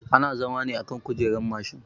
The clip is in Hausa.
Ana zama ne akan kujerar mashin